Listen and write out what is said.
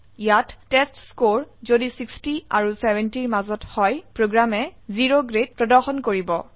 ইয়াত টেষ্টস্কৰে যদি 60 আৰু 70ৰ মাজত হয় প্ৰোগ্ৰামে O গ্ৰেড প্ৰদৰ্শন কৰিব